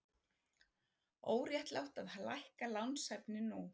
Óréttlátt að lækka lánshæfi nú